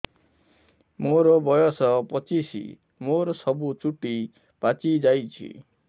ମୋର ବୟସ ପଚିଶି ମୋର ସବୁ ଚୁଟି ପାଚି ଯାଇଛି